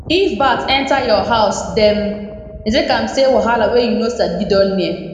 if bat enter your house dem dey take am say wahala wey you no sabi don near